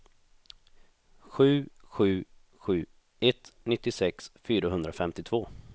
sju sju sju ett nittiosex fyrahundrafemtiotvå